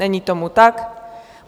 Není tomu tak.